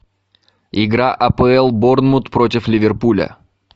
игра апл борнмут против ливерпуля